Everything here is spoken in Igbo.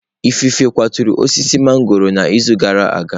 Ifufe kwaturu osisi mangọrọ n'izu gara aga.